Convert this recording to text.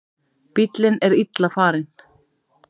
Bíllinn er illa farinn